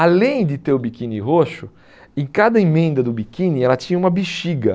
Além de ter o biquíni roxo, em cada emenda do biquíni ela tinha uma bexiga.